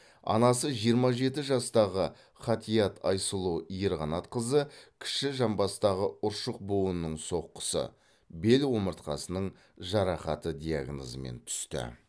анасы жиырма жеті жастағы ғатиат айсұлу ерқанатқызы кіші жамбастағы ұршық буынының соққысы бел омыртқасының жарақаты диагнозымен түсті